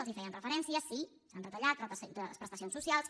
els hi feia referència sí s’han retallat les prestacions socials